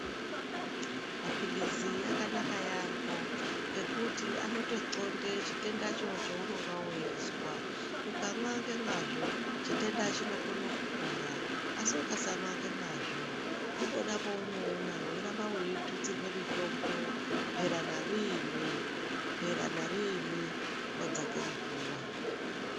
Mapilizi akanaka yaamho ngekuti anotonxonda chitenda cho cheunonga weizwa, ukamwa ngemwazvo chitenda chinokone kupora asi ukasamwa ngemwazvo ndipona paunoona weiramba weitutsirwe mitombo mhera nariini, mhera nariini wadzake muguwa.